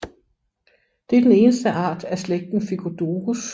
Det er den eneste art af slægten Phycodurus